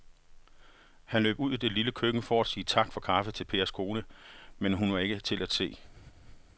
Han løb ud i det lille køkken for at sige tak for kaffe til Pers kone, men hun var ikke til at se.